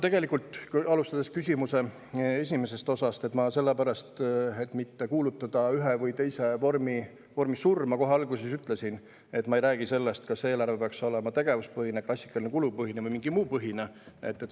Tegelikult, alustades küsimuse esimesest osast, ma selle pärast, et mitte kuulutada ühe või teise vormi surma, kohe alguses ütlesin, et ma ei räägi sellest, kas eelarve peaks olema tegevuspõhine, klassikaline kulupõhine või mingi muu põhine.